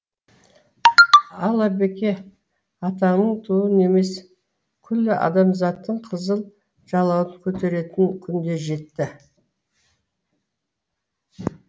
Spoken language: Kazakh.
ал әбеке атаның туын емес күллі адамзаттың қызыл жалауын көтеретін күн де жетті